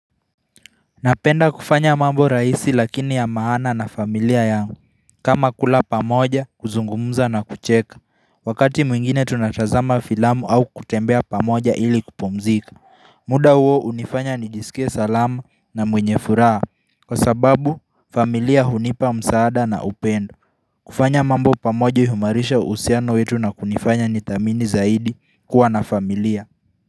Napenda kufanya mambo rahisi lakini ya maana na familia yangu kama kula pamoja, kuzungumuza na kucheka. Wakati mwingine tunatazama filamu au kutembea pamoja ili kupumzika. Muda huo hunifanya nijisike salamu na mwenye furaha Kwa sababu familia hunipa msaada na upendo kufanya mambo pamoja huimarisha uhusiano wetu na kunifanya nithamini zaidi kuwa na familia.